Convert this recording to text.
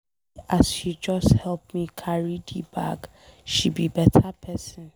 See as she just help me carry the bag. She be better person.